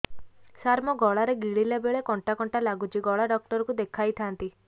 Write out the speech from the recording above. ସାର ମୋ ଗଳା ରେ ଗିଳିଲା ବେଲେ କଣ୍ଟା କଣ୍ଟା ଲାଗୁଛି ଗଳା ଡକ୍ଟର କୁ ଦେଖାଇ ଥାନ୍ତି